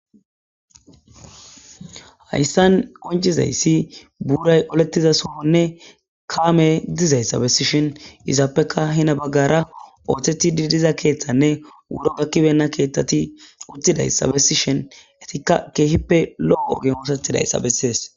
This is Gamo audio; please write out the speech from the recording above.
Hayssan qoncizayssi buuray olettiza suhonne kaame dizayssabessishen izaappeka hina baggara ooththeti didiza keeththanne wuro gakkibenna keethtati uttidayssabessishen etikka keehippe lo'o ogem oosethidayssa bessees.